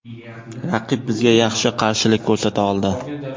Raqib bizga yaxshi qarshilik ko‘rsata oldi.